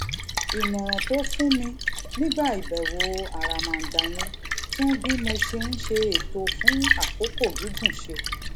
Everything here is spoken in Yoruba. ìmòràn tó fún mi nígbà ìbèwò àràmàǹdà yẹn tún bí mo ṣe ń ṣe ètò fún àkókò gígùn ṣe